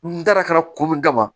N dara kana ko mun kama